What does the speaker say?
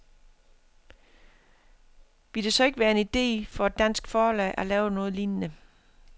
Ville det så ikke være en ide for et dansk forlag at lave noget lignende?